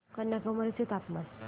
कन्याकुमारी चे तापमान